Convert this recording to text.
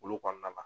Olu kɔnɔna na